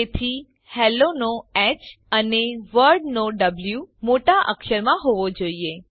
તેથી હેલ્લો નો હ અને વર્લ્ડ નો વો મોટા અક્ષરમાં હોવો જોઈએ